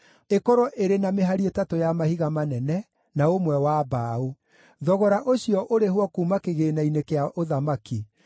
ĩkorwo ĩrĩ na mĩhari ĩtatũ ya mahiga manene, na ũmwe wa mbaũ. Thogora ũcio ũrĩhwo kuuma kĩgĩĩna-inĩ kĩa ũthamaki.